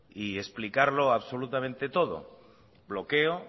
y explicarlo absolutamente todo bloqueo